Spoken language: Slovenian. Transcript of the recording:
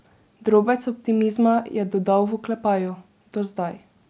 Drobec optimizma je dodal v oklepaju: "do zdaj".